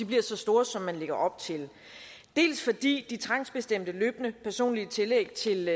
bliver så store som man lægger op til dels fordi de trangsbestemte løbende personlige tillæg til